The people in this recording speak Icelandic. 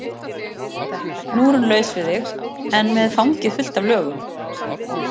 Nú er hún laus við þig en með fangið fullt af lögum.